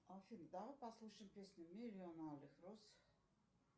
афина давай послушаем песню миллион алых роз